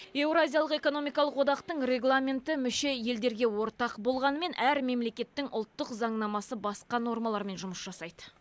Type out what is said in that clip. еуразиялық экономикалық одағының регламенті мүше елдерге ортақ болғанымен әр мемлекеттің ұлттық заңнамасы басқа нормалармен жұмыс жасайды